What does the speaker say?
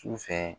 Sufɛ